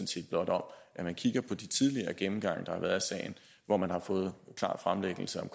set blot om at man kigger på de tidligere gennemgange der har været af sagen hvor man har fået en klar fremlæggelse af